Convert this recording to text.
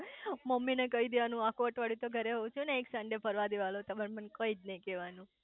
mummy ને કઈ દેવાનું આખું અઠવાડિતયુ તો ઘરે હોવ છું ને એક સન્ડે ફરવાદેવાનો તમાર મન કઈ નઈ કેવાનું